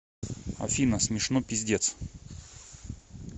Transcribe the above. афина смешно пиздец